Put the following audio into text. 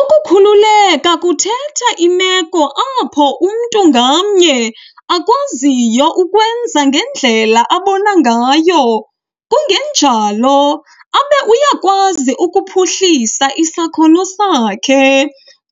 ukukhululeka kuthetha imeko apho umntu ngamnye akwaziyo ukwenza ngendlela abona ngayo kungenjalo, abe uyakwazi ukuphuhlisa isakhono sakhe,